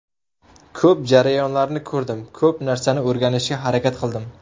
Ko‘p jarayonlarni ko‘rdim, ko‘p narsani o‘rganishga harakat qildim.